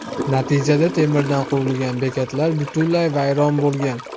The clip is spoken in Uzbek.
Natijada temirdan qurilgan bekat butunlay vayron bo‘lgan.